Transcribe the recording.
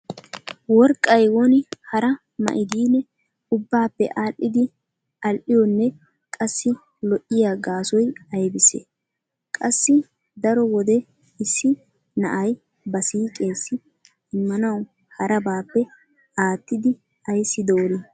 Worqqay woni hara ma'idine ubbaappe aadhdhidi al"iyonne qassi lo'iyo gaasoy aybissee? Qassi daro wode issi na'ay ba siiqeessi immanawu harabaappe aattidi ayssi doorii?